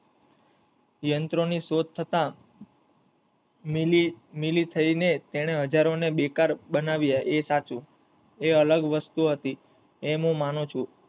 યંત્ર ની શોધ થતા મિલી થઈ ને તેને હઝારો ને બેકાર બનાવીયા એ સાચું એ અલગ વસ્તુ હતી એમ હું માંનુ છું.